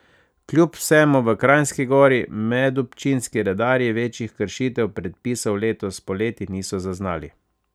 Kljub vsemu v Kranjski Gori medobčinski redarji večjih kršitev predpisov letos poleti niso zaznali.